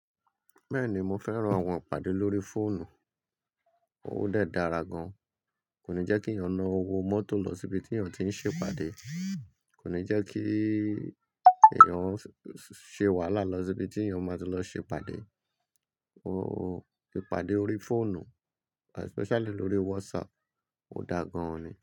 Bẹ́ẹ̀ni, mo fẹ́ran àwọn ìpàdé lórí fóònù, ó dàra gan-an, kò ní jẹ́kí èèyàn na owó mọ́tò lọ síbi tí èèyàn tí ń ṣe ìpàdé, kò ní jẹ́kí èèyàn ṣe wàhálà lọ síbi tí èèyàn máa tí lọ ṣe ìpàdé. Ó ìpàdé órí fóònù especially lórí WhatsApp, ó da gan-an ni.